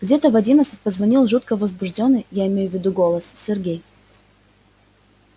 где-то в одиннадцать позвонил жутко возбуждённый я имею в виду голос сергей